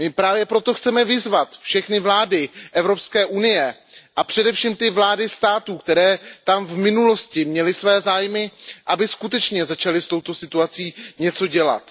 My právě proto chceme vyzvat všechny vlády EU a především ty vlády států, které tam v minulosti měly své zájmy, aby skutečně začaly s touto situací něco dělat.